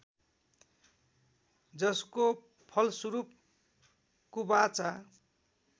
जसको फलस्वरूप कुबाचा